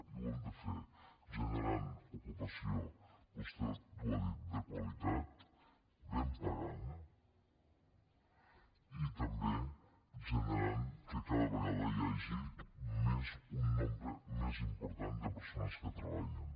i ho hem de fer generant ocupació vostè ho ha dit de qualitat ben pagada i també generant que cada vegada hi hagi un nombre més important de persones que treballin